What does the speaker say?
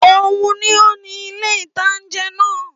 Óun ni ó ni ilé-ìtánjẹ náà